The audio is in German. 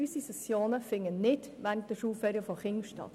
Unsere Sessionen finden nicht während den Schulferien der Kinder statt.